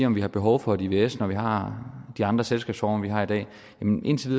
om vi har behov for et ivs når vi har de andre selskabsformer vi har i dag men indtil